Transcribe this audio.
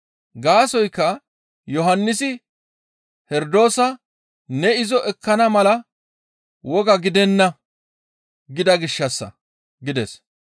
Gaasoykka Yohannisi Herdoosa, «Ne izo ekkana mala woga gidenna gida gishshassa» gides.